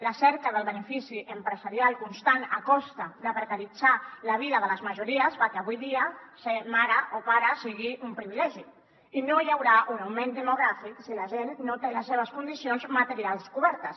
la cerca del benefici empresarial constant a costa de precaritzar la vida de les majories fa que avui dia ser mare o pare sigui un privilegi i no hi haurà un augment demogràfic si la gent no té les seves condicions materials cobertes